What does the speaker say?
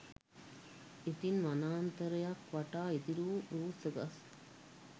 ඉදින් වනාන්තරයක් වවා ඉතිරි වූ රූස්ස ගස්